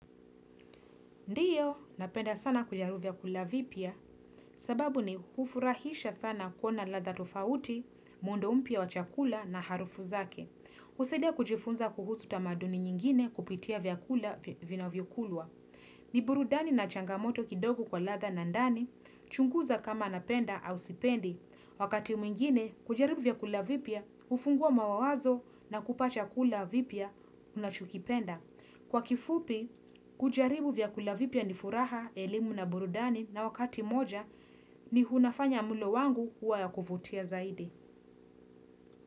Ndio, napenda sana kujaribu vyakula vipya, sababu ni hufurahisha sana kuwa na ladha tofauti, muundo mpya wa chakula na harufu zake. Husaidia kujifunza kuhusu tamaduni nyingine kupitia vyakula vinavyokulwa. Ni burudani na changamoto kidogo kwa ladha na ndani, chunguza kama napenda au sipendi. Wakati mwingine, kujaribu vyakula vipya, hufungua mawazo na kupa chakula vipya unachokipenda. Kwa kifupi, kujaribu vyakula vipya ni furaha, elimu na burudani na wakati moja ni unafanya mlo wangu huwa ya kuvutia zaidi.